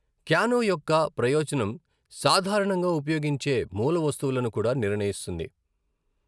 Canoe యొక్క ప్రయోజనం సాధారణంగా ఉపయోగించే మూలవస్తువులను కూడా నిర్ణయిస్తుంది.